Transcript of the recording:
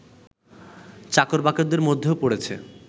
চাকর-বাকরদের মধ্যেও পড়েছে